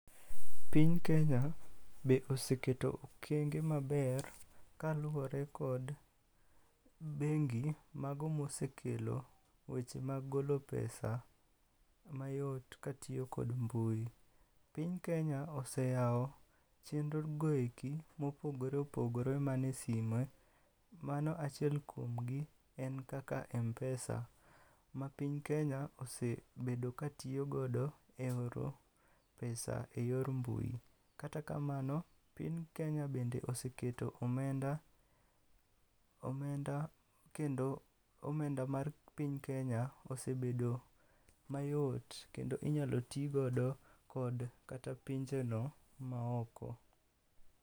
Piny Kenya be oseketo okenge maber kaluwore kod bengi mago mosekelo weche mag golo pesa mayot katiyo kod mbui. Piny Kenya oseyawo chenrogoeki mopogore opogore mane sime, mano achiel kuomgi en kaka Mpesa, ma piny Kenya osebedo katiyogodo e oro pesa e yor mbui. Kata kamano, piny Kenya bende oseketo omenda, omenda kendo omenda mar piny Kenya osebedo mayot kendo inyalo tigodo kod kata pinjeno maoko.